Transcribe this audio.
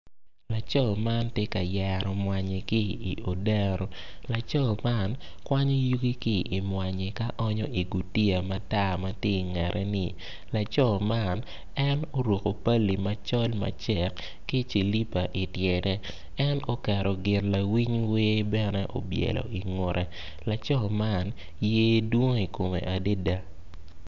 Laco man tye ka yero mwanyi ki i odero laco man laco man onyo yugi ki i mwanyi man i gutiya ma i kangete laco man oruko pali macol ma cek ki cilipa i tyene en oketo gin lawiny wer bene i wiye laco man yer dwong i kome adada.